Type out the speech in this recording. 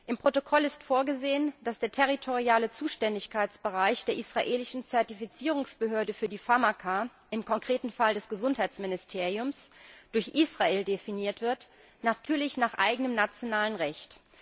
Im Protokoll ist vorgesehen, dass der territoriale Zuständigkeitsbereich der israelischen Zertifizierungsbehörde für Pharmaka, im konkreten Fall des Gesundheitsministeriums, durch Israel definiert wird natürlich nach eigenem nationalem Recht.